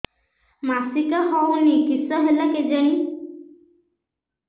ମାସିକା ହଉନି କିଶ ହେଲା କେଜାଣି